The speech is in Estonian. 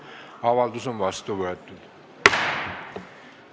Avaldus on vastu võetud.